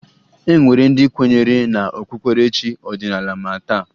E nwere ndị kwenyere na okpukperechi ọdịnaala ma taa